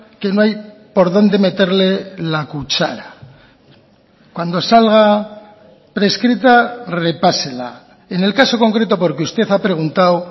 que no hay por dónde meterle la cuchara cuando salga prescrita repásela en el caso concreto porque usted ha preguntado